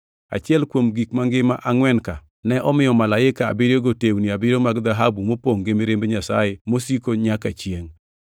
Achiel kuom gik mangima angʼwen ka ne omiyo malaike abiriyogo tewni abiriyo mag dhahabu mopongʼ gi mirimb Nyasaye mosiko nyaka chiengʼ.